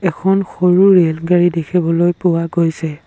এখন সৰু ৰেলগাড়ী দেখিবলৈ পোৱা গৈছে।